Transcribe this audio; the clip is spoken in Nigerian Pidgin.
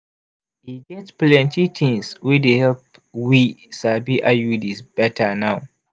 e get plenti tings wey dey help we sabi iuds betta now.